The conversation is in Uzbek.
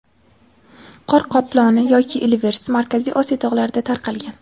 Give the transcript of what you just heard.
Qor qoploni yoki ilvirs, Markaziy Osiyo tog‘larida tarqalgan.